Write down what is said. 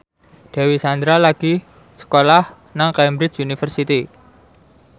Dewi Sandra lagi sekolah nang Cambridge University